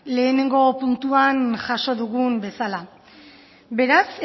lehenengo puntuan jaso dugun bezala beraz